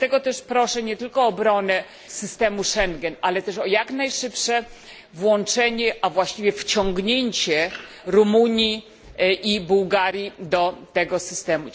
Dlatego też proszę nie tylko o obronę systemu Schengen, ale też o jak najszybsze włączenie, a właściwie wciągnięcie, Rumunii i Bułgarii do tego systemu.